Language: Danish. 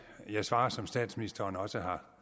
jeg svare som statsministeren også har